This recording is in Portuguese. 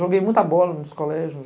Joguei muita bola nos colégios.